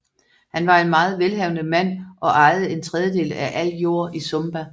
Han var en meget velhavende mand og ejede en tredjedel af al jord i Sumba